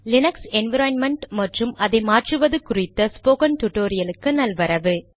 Linux environment மற்றும் அதை மாற்றுவது குறித்த ஸ்போகன் டுடோரியலுக்கு நல்வரவு